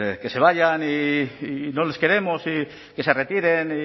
que se vayan y no les queremos y que se retiren